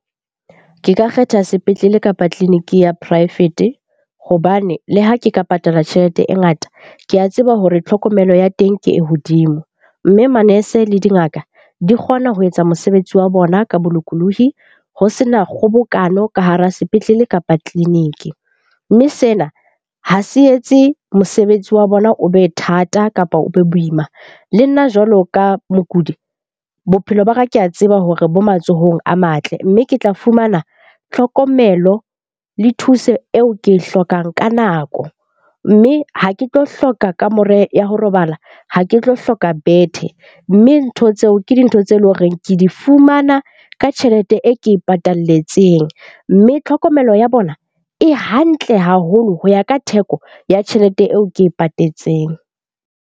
Ke ka kgetha sepetlele kapa tleliniki ya poraefete hobane le ha ke ka patala tjhelete e ngata, ke a tseba hore tlhokomelo ya teng ke e hodimo. Mme manese le dingaka di kgona ho etsa mosebetsi wa bona ka bolokolohi ho sena kgobokano ka hara sepetlele kapa tleliniki. Mme sena ha se etse mosebetsi wa bona o be thata kapa o be boima. Le nna jwalo ka mokudi, bophelo ba ka ke a tseba hore bo matsohong a matle, mme ke tla fumana tlhokomelo le thuso eo ke e hlokang ka nako. Mme ha ke tlo hloka kamore ya ho robala, ha ke tlo hloka bethe. Mme ntho tseo ke dintho tse leng horeng ke di fumana ka tjhelete e ke e patalletseng. Mme tlhokomelo ya bona e hantle haholo ho ya ka theko ya tjhelete eo ke e patetseng.